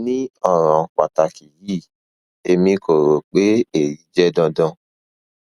ni ọran pataki yii emi ko ro pe eyi jẹ dandan